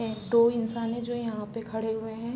दो इन्सान है जो यहाँ पे खड़े हुए है ।